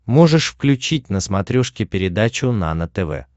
можешь включить на смотрешке передачу нано тв